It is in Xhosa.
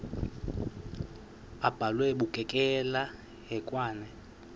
abhalwe bukekela hekwane